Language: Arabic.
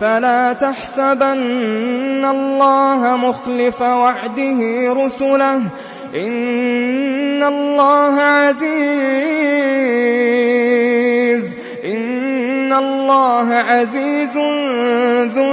فَلَا تَحْسَبَنَّ اللَّهَ مُخْلِفَ وَعْدِهِ رُسُلَهُ ۗ إِنَّ اللَّهَ عَزِيزٌ ذُو